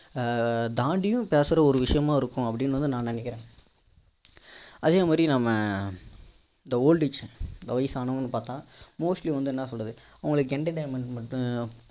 ஆஹ் தாண்டியும் பேசுற ஒரு விஷயமா இருக்கும் அப்படினு வந்து நான் நினைக்கிறேன் அதே மாதிரி நாம்ம இந்த old age people வயசானவங்கன்னு பார்த்தா mostly வந்து என்ன சொல்றது அவங்களுக்கு entertainment